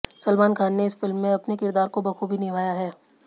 सलमान खान ने इस फिल्म में अपने किरदार को बखूबी निभाया है